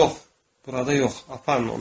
Yox, burada yox, aparın onu.